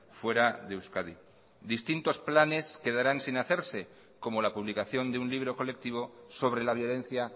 fuera de euskadi distintos planes quedarán sin hacerse como la publicación de un libro colectivo sobre la violencia